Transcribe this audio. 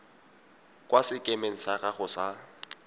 kwa sekemeng sa gago sa